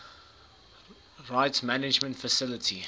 rights management facility